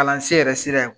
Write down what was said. Kalansen yɛrɛ sira